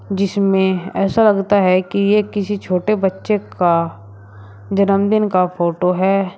जिसमें ऐसा लगता है कि ये किसी छोटे बच्चे का जन्मदिन का फोटो है।